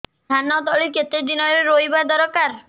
ଧାନ ତଳି କେତେ ଦିନରେ ରୋଈବା ଦରକାର